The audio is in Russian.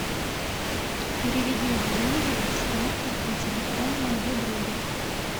переведи деньги с карты на телефон моего друга